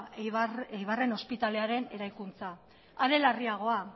eibarren ospitalearen eraikuntza are larriagoa